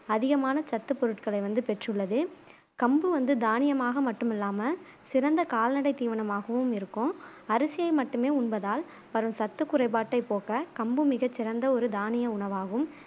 அதிகமான சத்துப் பொருள்களை வந்து பெற்றுள்ளது கம்பு வந்து தானியமாக மட்டுமில்லாம சிறந்த கால்நடை தீவனமாகவும் இருக்கும் அரிசியை மட்டுமே உண்பதால் வரும் சத்து குறைபாட்டை போக்க கம்பு மிக சிறந்த ஒரு தானிய உணவாகும்